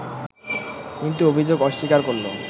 কিন্তু অভিযোগ অস্বীকার করলে